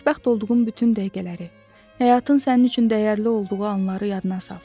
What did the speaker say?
Xoşbəxt olduğun bütün dəqiqələri, həyatın sənin üçün dəyərli olduğu anları yadına sal.